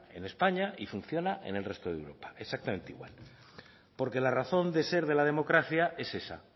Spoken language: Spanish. en españa y funciona en el resto de europa exactamente igual porque la razón de ser de la democracia es esa